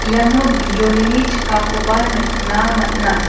iano bijolini ching·akoba nikna man·a.